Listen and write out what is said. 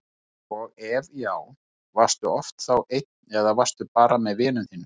og ef já, varstu oft þá einn eða varstu bara með vinum þínum?